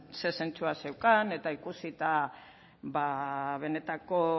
zer zentzua zeukan eta ikusita benetako